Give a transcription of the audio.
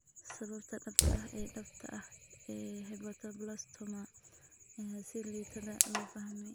Sababta dhabta ah ee dhabta ah ee hepatoblastoma ayaa si liidata loo fahmay.